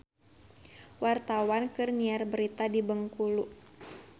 Wartawan keur nyiar berita di Bengkulu